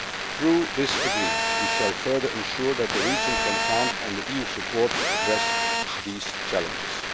Through this agreement, we shall further ensure that the region can count on the EU's support to address these challenges.